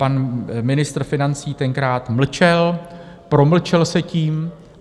Pan ministr financí tenkrát mlčel, promlčel se tím.